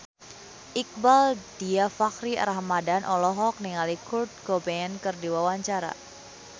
Iqbaal Dhiafakhri Ramadhan olohok ningali Kurt Cobain keur diwawancara